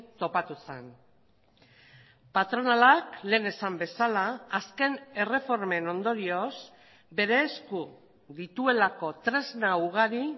topatu zen patronalak lehen esan bezala azken erreformen ondorioz bere esku dituelako tresna ugari